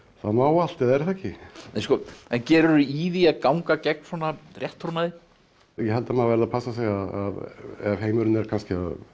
það má allt eða er það ekki gerirðu í því að ganga gegn svona rétttrúnaði ég held að maður verði að passa sig ef heimurinn er kannski